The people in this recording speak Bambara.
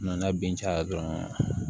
Nana bin caya dɔrɔn